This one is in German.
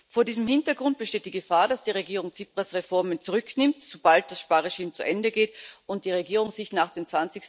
Vor diesem Hintergrund besteht die Gefahr, dass die Regierung Tsipras Reformen zurücknimmt, sobald das Sparregime zu Ende geht und die Regierung sich nach dem